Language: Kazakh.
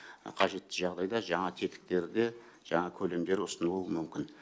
қажетті жағдайда жаңа тетіктер де жаңа көлемдер ұсынылуы мүмкін